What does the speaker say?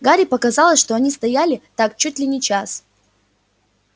гарри показалось что они стояли так чуть ли не час